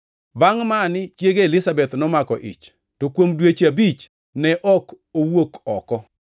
Bangʼ mani chiege Elizabeth nomako ich to kuom dweche abich ne ok owuok oko.